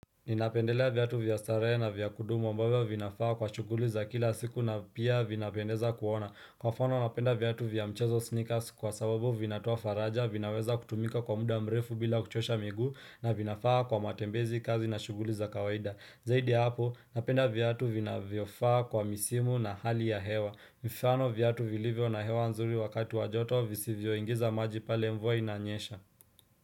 Ninapendelea viatu vya starehe na vya kudumu ambavyo vinafaa kwa shughuli za kila siku na pia vinapendeza kuona. Kwa mfano napenda viatu vya mchezo sneakers kwa sababu vinatoa faraja, vinaweza kutumika kwa muda mrefu bila kuchosha miguu na vinafaa kwa matembezi kazi na shughuli za kawaida. Zaidi ya hapo napenda viatu vinavyofaa kwa misimu na hali ya hewa. Mifano viatu vilivyo na hewa nzuri wakati wa joto visivyoingiza maji pale mvua inanyesha.